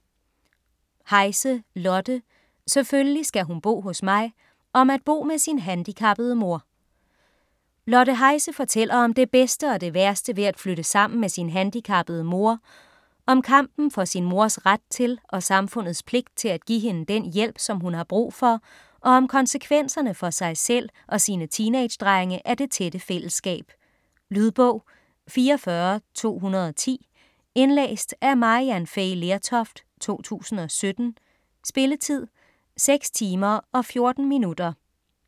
Heise, Lotte: Selvfølgelig skal hun bo hos mig: om at bo med sin handicappede mor Lotte Heise fortæller om det bedste og det værste ved at flytte sammen med sin handicappede mor, om kampen for sin mors ret til og samfundets pligt til at give hende den hjælp, som hun har brug for, og om konsekvenserne for sig selv og sine teenage drenge af det tætte fællesskab. Lydbog 44210 Indlæst af Maryann Fay Lertoft, 2017. Spilletid: 6 timer, 14 minutter.